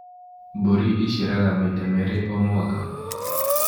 Mbũri iciaraga maita merĩ o mwaka